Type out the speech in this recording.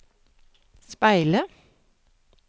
speile